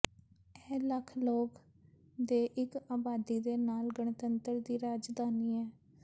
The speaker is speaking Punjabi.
ਇਹ ਲੱਖ ਲੋਕ ਦੇ ਇੱਕ ਆਬਾਦੀ ਦੇ ਨਾਲ ਗਣਤੰਤਰ ਦੀ ਰਾਜਧਾਨੀ ਹੈ